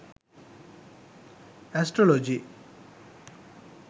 astrology